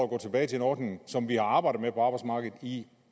gå tilbage til en ordning som man har arbejdet med på arbejdsmarkedet i